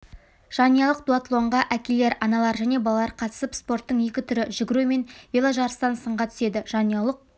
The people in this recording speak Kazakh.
жанұялық дуатлонға әкелер аналар және балалар қатысып спорттың екі түрі жүгіру мен веложарыстан сынға түседі жанұялық